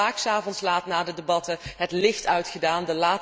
We hebben hier vaak 's avonds laat na de landbouwdebatten het licht uitgedaan.